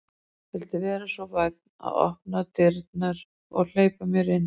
Viltu vera svo vænn að opna dyrnar og hleypa mér inn?